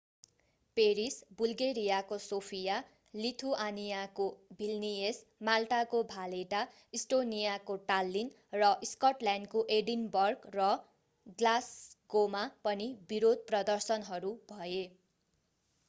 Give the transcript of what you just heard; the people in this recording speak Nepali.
पेरिस बुल्गेरियाको सोफिया लिथुआनियाको भिल्नियस माल्टाको भालेटा इस्टोनियाको टाल्लीन र स्कटल्याण्डको एडिनबर्ग र ग्लास्गोमा पनि विरोध प्रदर्शनहरू भए